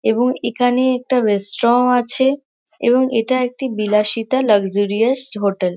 এবং এখানে একটা রেস্ট্র আছে এবং এটা একটি বিলাসিতা লাক্সারিয়াস হোটেল ।